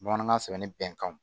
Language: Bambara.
Bamanankan sɛbɛnni bɛn kanw